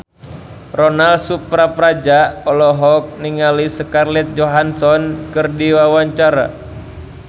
Ronal Surapradja olohok ningali Scarlett Johansson keur diwawancara